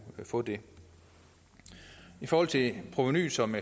få det i forhold til provenuet som